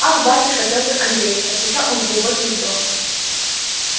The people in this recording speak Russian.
ах атюшка петр андреич отвечал он с глубоким вздохом